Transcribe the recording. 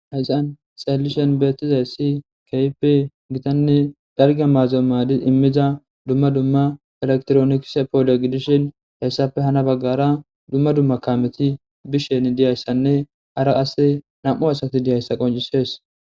Hayssan xeellishin beettizayssi keehippe gitanne dalgga maado immiza dumma dumma elekitironikise poole gidishe hayssappe hano baggara dumma dumma kaameti bishin diyayssanne hara asse nami'u asati diyayssa qonccises.